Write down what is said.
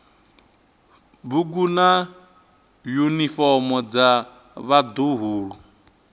bugu na yunifomo dza vhaḓuhulu